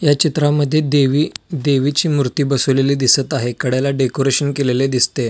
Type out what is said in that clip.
या चित्रामद्धे देवी देवीची मूर्ती बसवलेली दिसत आहे कड्याला डेकोरेशन केलेले दिसते.